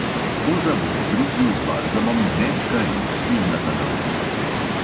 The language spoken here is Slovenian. Koža bo po britju z balzamom mehka in svilnata na otip.